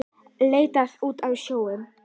Leit út á sjóinn.